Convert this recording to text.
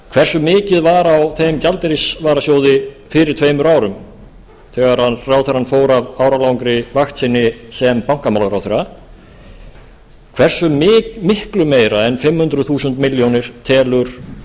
hversu mikið var á þeim gjaldeyrisvarasjóði fyrir tveimur árum þegar ráðherrann fór af áralangri vakt sinni sem bankamálaráðherra hversu miklu meira en fimm hundruð þúsund milljónum telur